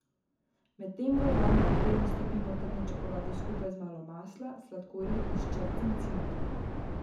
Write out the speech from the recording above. Medtem v vodni kopeli stopimo temno čokolado skupaj z malo masla, sladkorja in ščepcem cimeta.